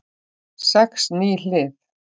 Sex ný hlið